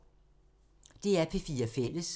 DR P4 Fælles